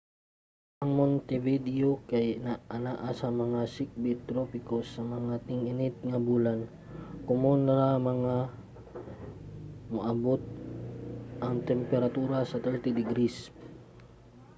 ang montevideo kay anaa sa mga sikbit-tropiko; sa mga ting-init nga bulan komon ra nga moabot ang temperatura sa +30°c